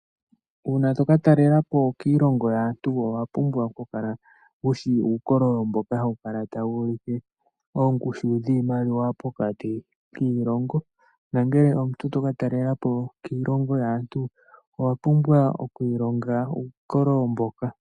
Una toka talelapo kiilongo yaantu owuna oku kala wushi uukololo mboka hawu kala tawu ulike oongushu dhiimaliwa pokati kiilongo. Nangele omuntu toka talelapo kiilongo yaantu owa pumbwa oku ilonga uukololo mboka.